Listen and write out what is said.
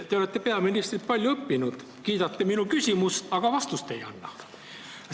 Te olete peaministrilt palju õppinud: te kiidate minu küsimust, aga vastust ei anna.